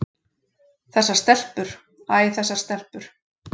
Þessar stelpur, æ þessar stelpur.